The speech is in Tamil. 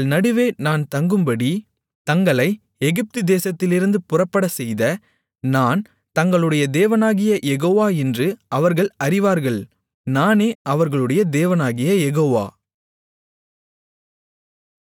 தங்கள் நடுவே நான் தங்கும்படி தங்களை எகிப்து தேசத்திலிருந்து புறப்படச்செய்த நான் தங்களுடைய தேவனாகிய யெகோவா என்று அவர்கள் அறிவார்கள் நானே அவர்களுடைய தேவனாகிய யெகோவா